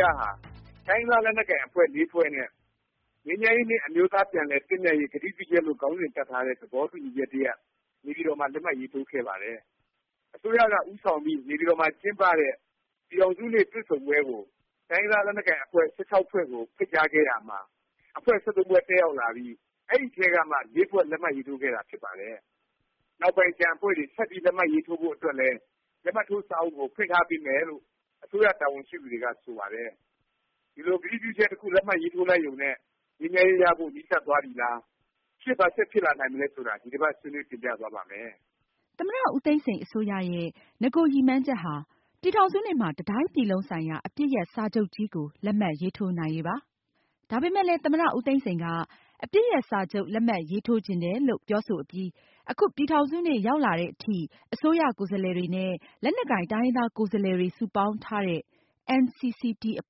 ရဟာ တိုင်းရင်းသား လက်နက်ကိုင် အဖွဲ့ ဖွဲ့နဲ့ “ ငြိမ်းချမ်းရေးနှင့် အမျိုးသား ပြန်လည် သင့်မြတ်ရေး ကတိပြုချက်”လို့ ခေါင်းစဉ်တပ်ထားတဲ့ သဘောတူညီချက် တစ်ရပ် နေပြည်တော်မှာ လက်မှတ်ရေးထိုးခဲ့ပါတယ်။ အစိုးရက ဦးဆောင်ပြီး နေပြည်တော်မှာ ကျင်းပတဲ့ ပြည်ထောင်စုနေ့ တွေ့ဆုံပွဲကို တိုင်းရင်းသား လက်နက်ကိုင် အဖွဲ့ ၁၆ ဖွဲ့ကို ဖိတ်ကြားခဲ့ရာမှာ အဖွဲ့ ဖွဲ့ တက်ရောက်လာပြီး အဲဒီအထဲကမှ ဖွဲ့ လက်မှတ်ရေးထိုးခဲ့တာ ဖြစ်ပါတယ်။ နောက်ပိုင်း ကျန်အဖွဲ့တွေ ဆက်ပြီး လက်မှတ်ရေးထိုးဖို့အတွက်လည်း လက်မှတ်ထိုး စာအုပ်ကို ဖွင့်ထားပေးမယ်လို့ အစိုးရ တာဝန်ရှိသူတွေက ဆိုပါတယ်။ ဒီလို ကတိပြုချက် တစ်ခု လက်မှတ်ရေးထိုးလိုက်ရုံနဲ့ ငြိမ်းချမ်းရေးရဖို့ နီးစပ်သွားပြီလား၊ ရှေ့ ဘာဆက်ဖြစ်လာနိုင်မလဲ ဆိုတာ ဒီတစ်ပါတ် ဆွေးနွေးတင်ပြသွားပါ့မယ်။ သမ္မတ ဦးသိန်းစိန် အစိုးရရဲ့ နဂို ရည်မှန်းချက်ဟာ ပြည်ထောင်စုနေ့မှာ တစ်တိုင်းပြည်လုံးဆိုင်ရာ အပစ်ရပ် စာချုပ်ကြီးကို လက်မှတ်ရေးထိုးနိုင်ရေးပါ။ ဒါပေမယ့်လည်း သမ္မတ ဦးသိန်းစိန်က အပစ်ရပ် စာချုပ် လက်မှတ်ရေးထိုးချင်တယ်လို့ ပြောဆိုအပြီး အခု ပြည်ထောင်စုနေ့ ရောက်လာသည်အထိ အစိုးရ ကိုယ်စားလှယ်တွေနဲ့ လက်နက်ကိုင် တိုင်းရင်းသား ကိုယ်စားလှယ်တွေ စုပေါင်းထားတဲ့ NCCT အ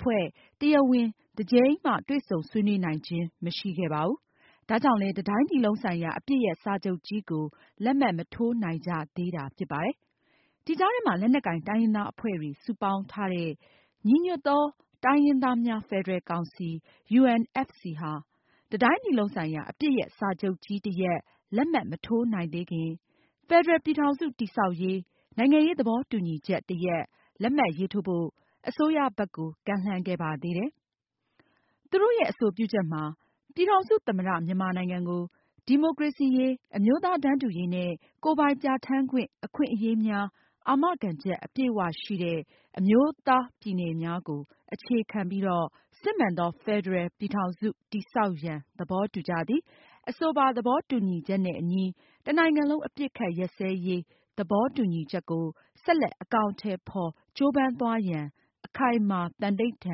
ဖွဲ့ တရားဝင် တစ်ကြိမ်မှ တွေ့ဆုံဆွေးနွေးနိုင်ခြင်း မရှိခဲ့ပါဘူး။ ဒါကြောင့်လည်း တစ်တိုင်းပြည်လုံးဆိုင်ရာ အပစ်ရပ် စာချုပ်ကြီးကို လက်မှတ် မထိုးနိုင်ကြသေးတာ ဖြစ်ပါတယ်။ ဒီကြားထဲမှာ လက်နက်ကိုင် တိုင်းရင်းသားအဖွဲ့တွေ စုပေါင်းထားတဲ့ ညီညွတ်သော တိုင်းရင်းသားများ ဖက်ဒရယ်ကောင်စီ UNFC ဟာ တစ်တိုင်းပြည်လုံး ဆိုင်ရာ အပစ်ရပ်စာချုပ်ကြီး တစ်ရပ် လက်မှတ်မထိုးနိုင်သေးခင် “ဖက်ဒရယ် ပြည်ထောင်စု တည်ဆောက်ရေး နိုင်ငံရေး သဘောတူညီချက်” တစ်ရပ် လက်မှတ်ရေးထိုးဖို့ အစိုးရဘက်ကို ကမ်းလှမ်းခဲ့ပါသေးတယ်။ သူတို့ရဲ့ အဆိုပြုချက်မှာ “ ပြည်ထောင်စု သမ္မတ မြန်မာနိုင်ငံကို ဒီမိုကရေစီရေး၊ အမျိုးသားတန်းတူရေးနှင့် ကိုယ်ပိုင်ပြဌာန်းခွင့် အခွင့်အရေးများ အာမခံချက် အပြည့်အ၀ ရှိသည့် အမျိုးသားပြည်နယ်များကို အခြေခံ၍ စစ်မှန်သော ဖက်ဒရယ် ပြည်ထောင်စု တည်ဆောက်ရန် သဘောတူကြသည်။ အဆိုပါ သဘောတူညီချက်နှင့် အညီ တစ်နိုင်ငံလုံး အပစ်အခတ် ရပ်စဲရေး သဘောတူညီချက်ကို ဆက်လက် အကောင်အထည်ဖော် ကြိုးပမ်းသွားကြရန် အခိုင်အမာ သံန္နိဌာ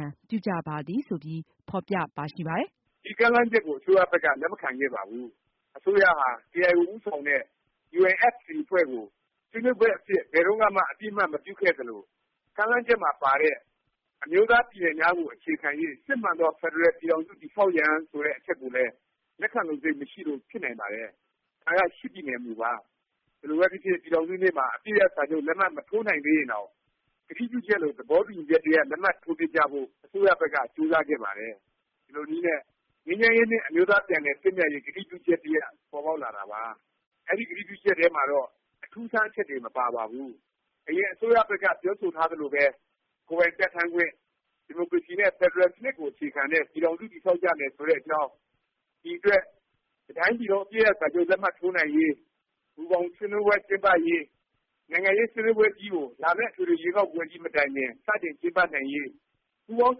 န် ပြုကြပါသည်။” ဆိုပြီး ဖော်ပြပါရှိပါတယ်။ ဒီ ကမ်းလှမ်းချက်ကို အစိုးရဘက်က လက်မခံခဲ့ပါဘူး။ အစိုးရဟာ ကေအိုင်အို ဦးဆောင်တဲ့ UNFC အဖွဲ့ကို ဆွေးနွေးဘက်အဖြစ် ဘယ်တုန်းကမှ အသိအမှတ်မပြုခဲ့သလို၊ ကမ်းလှမ်းချက်မှာပါတဲ့ “အမျိုးသားပြည်နယ်များကို အခြေခံ၍ စစ်မှန်သော ဖက်ဒရယ် ပြည်ထောင်စု တည်ဆောက်ရန်” ဆိုတဲ့ အချက်ကိုလည်း လက်ခံလိုစိတ် မရှိလို့ ဖြစ်နိုင်ပါတယ်။ ဒါက ပြည်နယ် မူပါ။ ဘယ်လိုပဲဖြစ်ဖြစ် ပြည်ထောင်စုနေ့မှာ အပစ်ရပ် စာချုပ် လက်မှတ်မထိုးနိုင်သေးရင်တောင် ကတိပြုချက်လို သဘောတူညီချက် တစ်ရပ် လက်မှတ်ထိုးဖြစ်ကြဖို့ အစိုးရဘက်က ကြိုးစားခဲ့ပါတယ်။ ဒီလိုနည်းနဲ့ “ ငြိမ်းချမ်းရေးနှင့် အမျိုးသား ပြန်လည် သင့်မြတ်ရေး ကတိပြုချက်” တစ်ရပ် ပေါ်ပေါက်လာတာပါ။ အဲဒီ ကတိပြုချက်ထဲမှာတော့ အထူးအဆန်း အချက်တွေ မပါပါဘူး။ အရင် အစိုးရဘက်က ပြောဆိုထားသလိုပဲ ကိုယ်ပိုင်ပြဌာန်းခွင့်၊ ဒီမိုကရေစီ နဲ့ ဖက်ဒရယ် စနစ်ကို အခြေခံတဲ့ ပြည်ထောင်စု တည်ဆောက်ကြမယ် ဆိုတဲ့အကြောင်း၊ ဒီအတွက် တစ်တိုင်းပြည်လုံး အပစ်ရပ်စာချုပ် လက်မှတ်ထိုးနိုင်ရေး၊ မူဘောင် ဆွေးနွေးပွဲ ကျင်းပရေး၊ နိုင်ငံရေး ဆွေးနွေးပွဲကြီးကို လာမယ့် အထွေထွေရွေးကောက်ပွဲကြီး မတိုင်ခင် စတင် ကျင်းပနိုင်ရေး ပူးပေါင်း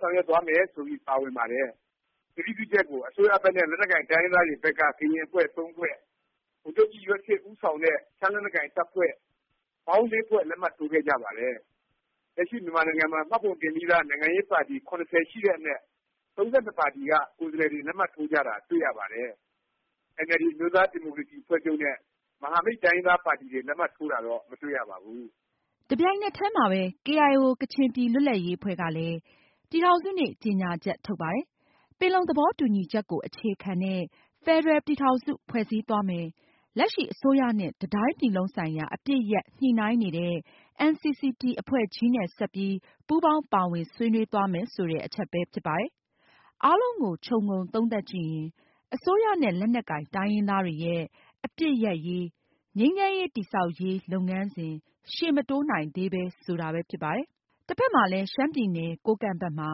ဆောင်ရွက်သွားမယ် ဆိုပြီး ပါဝင်ပါတယ်။ ကတိပြုချက်ကို အစိုးဘက်နဲ့ လက်နက်ကိုင် တိုင်းရင်းသားတွေဘက်က ကရင်အဖွဲ့ ဖွဲ့၊ ဗိုလ်ချုပ်ကြီးရွက်ဆစ် ဦးဆောင်တဲ့ ရှမ်းလက်နက်ကိုင် တပ်ဖွဲ့ ပေါင်း ဖွဲ့ လက်မှတ်ထိုးခဲ့ကြပါတယ်။ လက်ရှိ မြန်မာနိုင်ငံမှာ မှတ်ပုံတင်ပြီးသား နိုင်ငံရေးပါတီ ရှိတဲ့အနက် ပါတီက ကိုယ်စားလှယ်တွေ လက်မှတ်ထိုးကြတာ တွေ့ရပါတယ်။ အင်န်အယ်လ်ဒီ အမျိုးသားဒီမိုကရေစီ အဖွဲ့ချုပ်နဲ့ မဟာမိတ် တိုင်းရင်းသားပါတီတွေ လက်မှတ်ထိုးတာတော့ မတွေ့ရပါဘူး။ တစ်ပြိုင်နက်တည်းမှာပဲ ကေအိုင်အို ကချင်ပြည်လွတ်လပ်ရေးအဖွဲ့ကလည်း ပြည်ထောင်စုနေ့ ကြေငြာချက် ထုတ်ပါတယ်။ ပင်လုံသဘောတူညီချက်ကို အခြေခံတဲ့ ဖက်ဒရယ်ပြည်ထောင်စု ဖွဲ့စည်းသွားမယ်၊ လက်ရှိ အစိုးရနဲ့ တစ်တိုင်းပြည်လုံးဆိုင်ရာ အပစ် ရပ် ညှိနှိုင်းနေတဲ့ NCCT အဖွဲ့ကြီးနဲ့ ဆက်ပြီး ပူးပေါင်းပါဝင် ဆွေးနွေးသွားမယ် ဆိုတဲ့ အချက်ပဲဖြစ်ပါတယ်။ အားလုံးကို ခြုံငုံသုံးသပ်ကြည့်ရင် အစိုးရနဲ့ လက်နက်ကိုင် တိုင်းရင်းသားတွေရဲ့ အပစ်ရပ်ရေး၊ ငြိမ်းချမ်းရေး တည်ဆောက်ရေး လုပ်ငန်းစဉ် ရှေ့မတိုးနိုင်သေးဘူး ဆိုတာပဲ ဖြစ်ပါတယ်။ တစ်ဖက်မှာလည်း ရှမ်းပြည်နယ် ကိုးကန့်ဘက်မှာ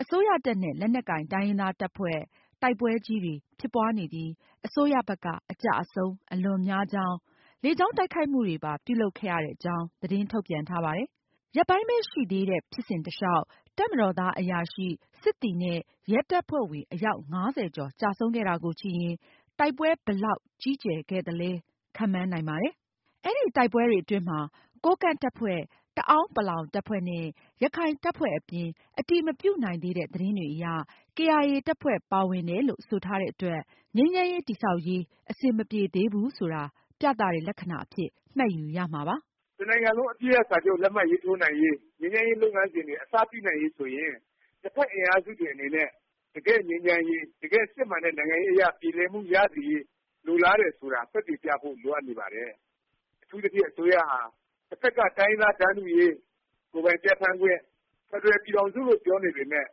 အစိုးရတပ်နဲ့ လက်နက်ကိုင် တိုင်းရင်းသားတပ်ဖွဲ့ တိုက်ပွဲကြီးတွေ ဖြစ်ပွားနေပြီး အစိုးရဘက်က အကျအဆုံး အလွန်များကြောင်း၊ လေကြောင်းတိုက်ခိုက်မှုတွေပါ ပြုလုပ်ခဲ့ရတဲ့အကြောင်း သတင်းထုတ်ပြန်ထားပါတယ်။ ရက်ပိုင်းပဲ ရှိသေးတဲ့ ဖြစ်စဉ်တလျောက် တပ်မတော်သား အရာရှိ၊ စစ်သည် နဲ့ ရဲတပ်ဖွဲ့ဝင် အယောက် ၅၀ ကျော် ကျဆုံးခဲ့တာကိုကြည့်ရင် တိုက်ပွဲဘယ်လောက် ကြီးကျယ်ခဲ့သလဲ ခန့်မှန်းနိုင်ပါတယ်။ အဲဒီ တိုက်ပွဲတွေအတွင်းမှာ ကိုးကန့်တပ်ဖွဲ့၊ တအောင်းပလောင် တပ်ဖွဲ့နဲ့ ရခိုင်တပ်ဖွဲ့အပြင် အတည်မပြုနိုင်သေးတဲ့ သတင်းတွေအရ ကေအိုင်အေ တပ်ဖွဲ့ပါ ပါဝင်တယ်လို့ ဆိုထားတဲ့အတွက် ငြိမ်းချမ်းရေး တည်ဆောက်ရေး အဆင်မပြေသေးဘူး ဆိုတာ ပြသတဲ့ လက္ခဏာအဖြစ် မှတ်ယူရမှာပဲ ဖြစ်ပါတယ်။ တစ်နိုင်ငံလုံး အပစ်ရပ်စာချုပ် လက်မှတ်ရေးထိုးနိုင်ရေး၊ ငြိမ်းချမ်းရေး လုပ်ငန်းစဉ်တွေ အစပြုနိုင်ရေး ဆိုရင် နှစ်ဘက် အင်အားစုတွေ အနေနဲ့ တကယ့် ငြိမ်းချမ်းရေး၊ တကယ့် စစ်မှန်တဲ့ နိုင်ငံရေးအရ ပြေလည်မှုရစေရေး လိုလားတယ်ဆိုတာ သက်သေပြဖို့ လိုအပ်နေပါတယ်။ အထူးသဖြင့် အစိုးရဟာ တစ်ဖက်က တိုင်းရင်းသား တန်းတူရေး၊ ကိုယ်ပိုင်ပြဌာန်းခွင့်၊ ဖက်ဒရယ်ပြည်ထောင်စု လို့ ပြောနေပေမယ့်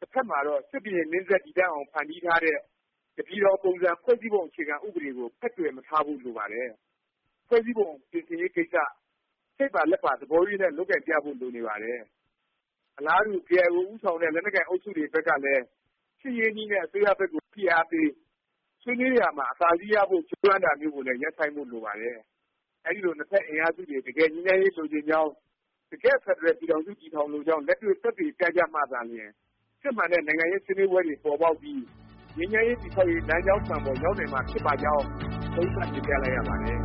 တဖက်မှာတော့ စစ်ဘုရင်မင်းဆက် တည်တံ့အောင် ဖန်တီးထားတဲ့၊ တစ်ပြည်ထောင် ပုံစံ ဖွဲ့စည်းပုံ အခြေခံဥပဒေ ကို ဖက်တွယ်မထားဖို့ လိုပါတယ်။ ဖွဲ့စည်းပုံ ပြင်ဆင်ရေးကိစ္စ စိတ်ပါလက်ပါ သဘောရိုးနဲ့ လုပ်ကိုင်ပြဖို့ လိုနေပါတယ်။ အလားတူ ကေအိုင်အို ဦးဆောင်တဲ့ လက်နက်ကိုင် အုပ်စုတွေ ဘက်ကလည်း စစ်ရေးနည်းနဲ့ အစိုးရဘက်ကို ဖိအားပေး၊ ဆွေးနွေးရာမှာ အသာစီးရဖို့ ကြိုးပမ်းတာမျိုးကိုလည်း ရပ်ဆိုင်းဖို့ လိုပါတယ်။ အဲဒီလို နှစ်ဖက် အင်အားစုတွေ တကယ် ငြိမ်းချမ်းရေး လိုချင်ကြောင်း၊ တကယ့် ဖက်ဒရယ် ပြည်ထောင်စု တည်ထောင်လိုကြောင်း လက်တွေ့ သက်သေပြကြမှသာလျင် စစ်မှန်တဲ့ နိုင်ငံရေး ဆွေးနွေးပွဲတွေ ပေါ်ပေါက်ပြီး ငြိမ်းချမ်းရေး တည်ဆောက်ရေး လမ်းကြောင်းမှန်ပေါ် ရောက်နိုင်မှာ ဖြစ်ပါကြောင်း သုံးသပ်တင်ပြလိုက်ရပါတယ်။